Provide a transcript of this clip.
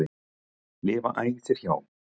lifa æ þér hjá.